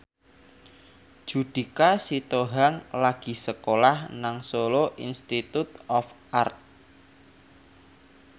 Judika Sitohang lagi sekolah nang Solo Institute of Art